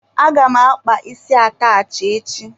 Aga m akpa isi atachị echi.